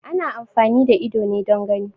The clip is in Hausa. Ana amfani da ido ne don gani